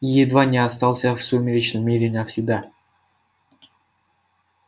и едва не остался в сумеречном мире навсегда